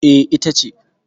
E, ita ce.